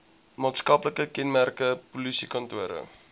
maatskaplike kenmerke polisiekantore